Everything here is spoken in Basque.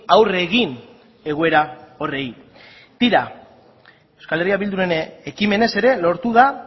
aurre egin egoera horri tira euskal herria bilduren ekimenez ere lortu da